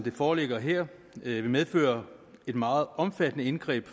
det foreligger her vil medføre et meget omfattende indgreb